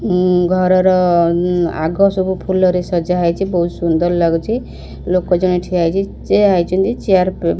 ଉଁ ଘର ର ଆଗ ସବୁ ଫୁଲ ରେ ସଜା ହେଇଛି ବହୁତ ସୁନ୍ଦର ଲାଗୁଛି ଲୋକ ଜାଣେ ଠିଆ ହେଇଛି ଠିଆ ହେଇଛନ୍ତି ଚେୟାର --